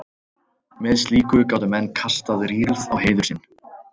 með slíku gátu menn kastað rýrð á heiður sinn